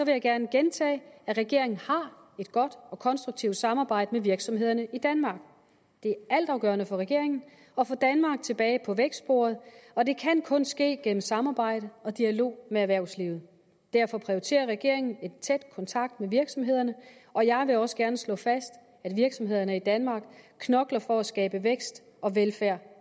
jeg gerne gentage at regeringen har et godt og konstruktivt samarbejde med virksomhederne i danmark det er altafgørende for regeringen at få danmark tilbage på vækstsporet og det kan kun ske gennem samarbejde og dialog med erhvervslivet derfor prioriterer regeringen en tæt kontakt med virksomhederne og jeg vil også gerne slå fast at virksomhederne i danmark knokler for at skabe vækst og velfærd